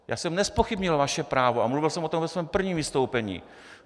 Já jsem nezpochybnil vaše právo a mluvil jsem o tom ve svém prvním vystoupení.